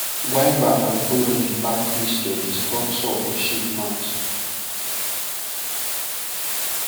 guava and orange back mixture dey stop sore for sheep mouth